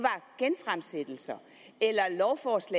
sige